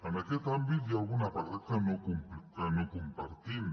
en aquest àmbit hi ha algun apartat que no compartim